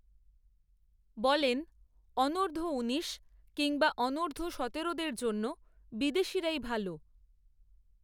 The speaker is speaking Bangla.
বলেন, অনূধর্ব উনিশ, কিংবা অনূর্ধ্ব সতেরোদের জন্য, বিদেশিরাই ভাল